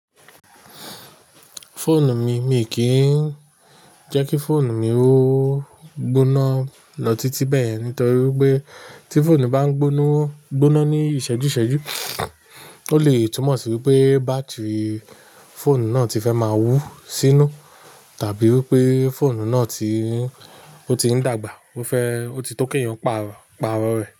Fóònù mi, mi kì í jẹ́ kí fóònù mi ó gbóná lọ títí bẹ́ẹ̀ nítorí pé tí fóònù bá ń gbóná, gbóná ní ìṣẹ́jú ìṣẹ́jú, ó lè túmọ̀ sí pé bátìrì fóònù náà ti fẹ́ máa wú sínú tàbí wípé fóònù náà ti, ó ti ń dàgbà, ó fẹ́, ó ti tó keyàn pàrọ̀, pàrọ̀ rẹ̀